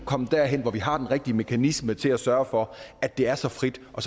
kommet derhen hvor vi har den rigtige mekanisme til at sørge for at det er så frit og